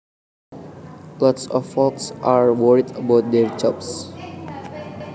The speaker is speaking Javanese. Lots of folks are worried about their jobs